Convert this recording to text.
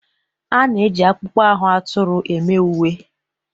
A na-eji akpụkpọ ahụ atụrụ eme uwe.